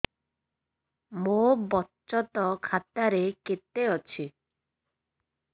ମୋ ବଚତ ଖାତା ରେ କେତେ ଅଛି